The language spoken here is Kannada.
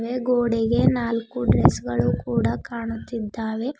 ಮೇ ಗೋಡೆಗೆ ನಾಲ್ಕು ಡ್ರೆಸ್ ಗಳು ಕೂಡ ಕಾಣುತ್ತಿದ್ದಾವೆ.